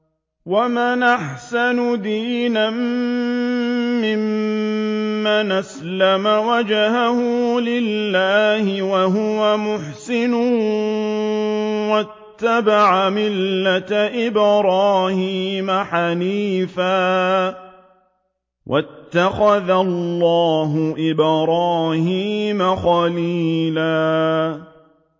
وَمَنْ أَحْسَنُ دِينًا مِّمَّنْ أَسْلَمَ وَجْهَهُ لِلَّهِ وَهُوَ مُحْسِنٌ وَاتَّبَعَ مِلَّةَ إِبْرَاهِيمَ حَنِيفًا ۗ وَاتَّخَذَ اللَّهُ إِبْرَاهِيمَ خَلِيلًا